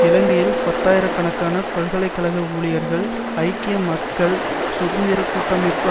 இலங்கையில் பத்தாயிர கணக்கான பல்கலை கழக ஊழியர்கள் ஐக்கிய மக்கள் சுதந்திர கூட்டமைப்பு